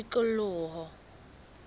tikoloho